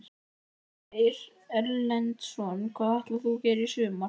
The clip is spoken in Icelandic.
Ásgeir Erlendsson: Hvað ætlar þú að gera í sumar?